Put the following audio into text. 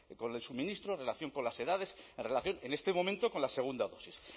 con el suministro en relación con las edades en relación en este momento con la segunda dosis